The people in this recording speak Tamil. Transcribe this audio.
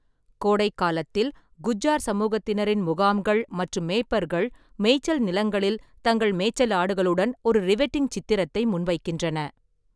கோடைக்காலத்தில், குஜ்ஜார் சமூகத்தினரின் முகாம்கள் மற்றும் மேய்ப்பர்கள் மேய்ச்சல் நிலங்களில் தங்கள் மேய்ச்சல் ஆடுகளுடன் ஒரு ரிவெட்டிங் சித்திரத்தை முன்வைக்கின்றன.